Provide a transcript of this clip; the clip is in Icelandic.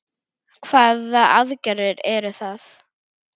Hvaða aðgerðir eru það?